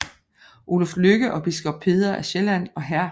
Oluf Lykke og biskop Peder af Sjælland og hr